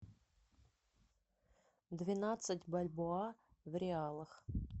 двенадцать бальбоа в реалах